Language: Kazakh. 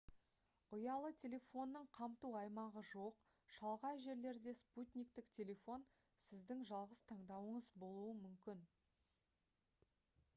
ұялы телефонның қамту аймағы жоқ шалғай жерлерде спутниктік телефон сіздің жалғыз таңдауыңыз болуы мүмкін